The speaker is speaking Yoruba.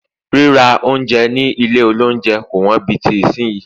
rírà ounjẹ ni ilé olounje ko won bí ti sinyi